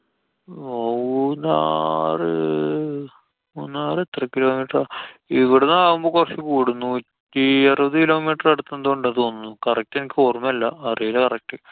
മൂന്നാറ്~ മൂന്നാറ് എത്ര kilometer ആ. ഇവുടുന്നാവുമ്പോ കൊറച്ചു കൂടും. നൂറ്റി അറുപതു kilometer അടുത്തെന്തോ ഉണ്ട് തോന്നുണൂ. correct എനിക്കൊര്‍മ്മയില്ലാ. അറിയില്ല correct.